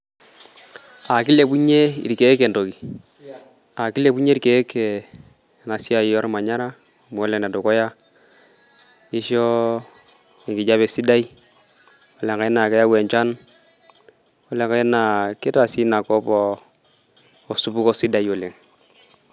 Aa kilepunye ilkieek entoki, aa kilepunye ilkieek enaa siaai ormanyara amu Ole dukuyaa, kisho enkijape sidai ore lenkae naa keyau enchan, Ole nkae naa kitaa sii ina kop osupuko sidai oleng.